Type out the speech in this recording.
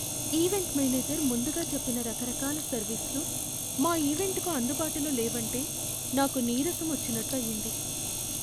Event manager ముందుగా చెప్పిన రకరకాల సర్వీసులు మా ఈవెంట్కు అందుబాటులో లేవంటే నాకు నీరసం వచ్చినట్టు అయింది.